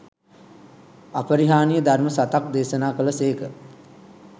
අපරිහානීය ධර්ම සතක් දේශනා කළ සේක.